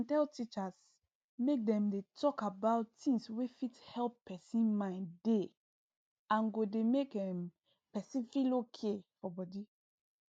dem tell teachers make dem dey talk about things wey fit help person mind dey and go dey make um person feel okay for body